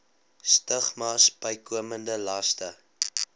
stigmas bykomende laste